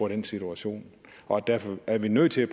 den situation og derfor er vi nødt til at